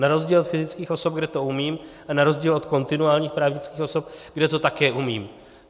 Na rozdíl od fyzických osob, kde to umím, a na rozdíl od kontinuálních právnických osob, kde to také umím.